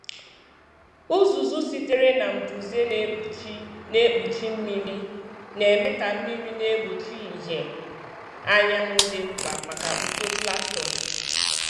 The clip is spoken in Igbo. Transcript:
Uzuzu sitere na mbuze na-ekpuchi na-ekpuchi mmiri, na-eme ka mmiri na-egbochi ìhè anyanwụ dị mkpa maka uto plankton.